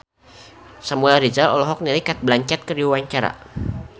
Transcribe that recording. Samuel Rizal olohok ningali Cate Blanchett keur diwawancara